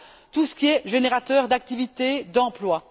tout ce qui est générateur d'activité, d'emploi.